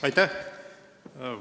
Aitäh!